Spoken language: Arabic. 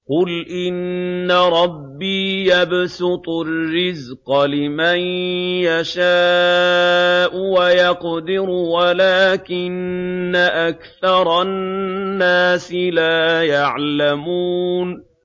قُلْ إِنَّ رَبِّي يَبْسُطُ الرِّزْقَ لِمَن يَشَاءُ وَيَقْدِرُ وَلَٰكِنَّ أَكْثَرَ النَّاسِ لَا يَعْلَمُونَ